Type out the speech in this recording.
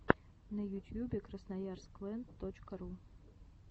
на ютьюбе красноярск лэнд точка ру